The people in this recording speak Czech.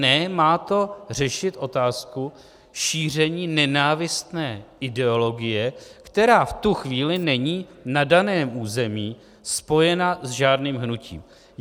Ne, má to řešit otázku šíření nenávistné ideologie, která v tu chvíli není na daném území spojena s žádným hnutím.